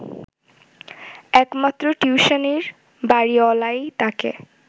একমাত্র টিউশনির বাড়িওয়ালাই তাকে